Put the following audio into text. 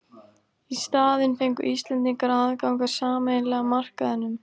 Í staðinn fengu Íslendingar aðgang að sameiginlega markaðinum.